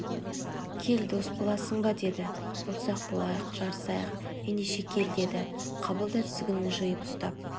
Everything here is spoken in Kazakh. кел дос боласың ба деді болсақ болайық жарысайық ендеше кел деді қабыл да тізгінін жиып ұстап